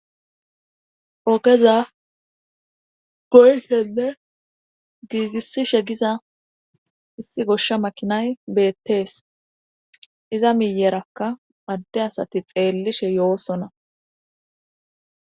Ogeza goyhenne giigissishe giza issi goshsha makinay beettees iza miyerakka madde asati xeellishe yoosona.